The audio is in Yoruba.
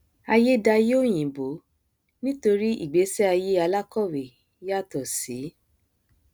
aiyé daiyé òyìnbó nítorí ìgbésí aiyé alákọwé yàtọ sí